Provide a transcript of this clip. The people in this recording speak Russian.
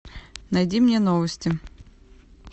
найди мне новости